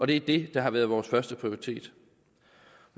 det er det der har været vores førsteprioritet